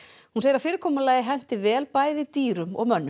hún segir að fyrirkomulagið henti vel bæði dýrum og mönnum